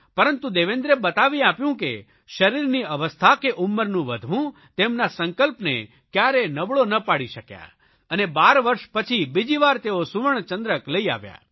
પરંતુ દેવેન્દ્રે બતાવી આપ્યું કે શરીરની અવસ્થા કે ઉંમરનું વધવું તેમના સંકલ્પને કયારેય નબળો ન પાડી શક્યા અને 12 વર્ષ પછી બીજીવાર તેઓ સુવર્ણચંદ્રક લઇ આવ્યા